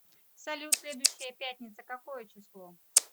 салют следующая пятница какое число